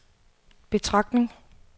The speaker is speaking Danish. betragtning